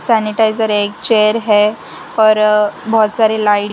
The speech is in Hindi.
सैनिटाइजर एक चेयर है और बहोत सारे लाइट --